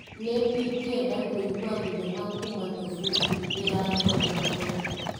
Nĩ ingĩenda kũigua thinema kuma tobutĩ ndĩrare hau kabere.